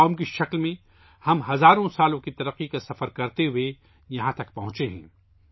بحیثیت قوم ہم ہزاروں سالوں پر محیط ترقی کے سفر کے ذریعے یہاں تک پہنچے ہیں